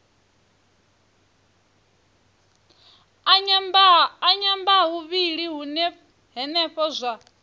a nyambahuvhili hune henefho zwa